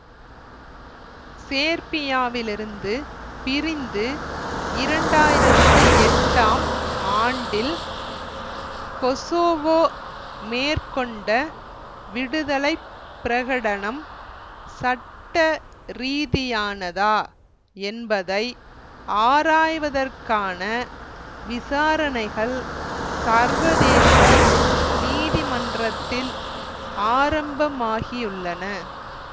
சேர்பியாவிலிருந்து பிரிந்து இரண்டு ஆயிரத்தி எட்டாம் ஆண்டில் கொசோவோ மேற்கொண்ட விடுதலை பிரகடனம் சட்ட ரீதியானதா என்பதை ஆராய்வதற்கான விசாரணைகள் சர்வதேச நீதிமன்றத்தில் ஆரம்பமாகியுள்ளன